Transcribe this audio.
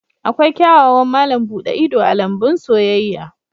Akwai kyawawan malam buɗe ido a lambun soyayya